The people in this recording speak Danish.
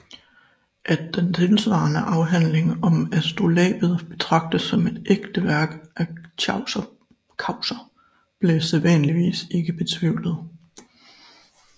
At den tilsvarende Afhandling om astrolabet betragtes som et ægte værk af Chaucer bliver sædvanligvis ikke betvivlet